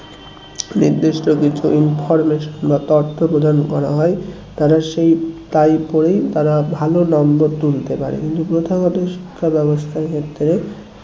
নির্দিষ্ট কিছু information বা তথ্য প্রদান করা হয় তারা সেই টাই পড়েই তারা ভালো number তুলতে পারে কিন্তু প্রথাগত শিক্ষা ব্যাবস্থার ক্ষেত্রে